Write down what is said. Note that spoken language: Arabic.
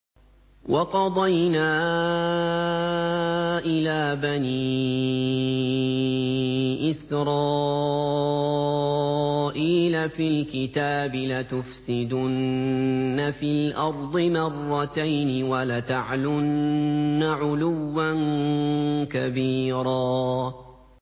وَقَضَيْنَا إِلَىٰ بَنِي إِسْرَائِيلَ فِي الْكِتَابِ لَتُفْسِدُنَّ فِي الْأَرْضِ مَرَّتَيْنِ وَلَتَعْلُنَّ عُلُوًّا كَبِيرًا